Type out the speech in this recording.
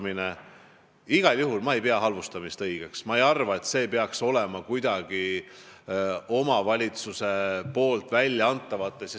Ma igal juhul ei pea halvustamist õigeks ja ma ei arva, et seda peaks omavalitsuse väljaannetes olema.